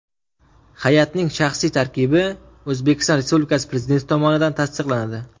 Hay’atning shaxsiy tarkibi O‘zbekiston Respublikasi Prezidenti tomonidan tasdiqlanadi.